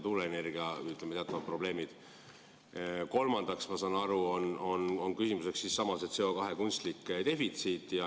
Kolmandaks, ma saan aru, on küsimuseks CO2 kunstlik defitsiit.